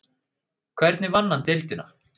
Hvernig vann hann deildina?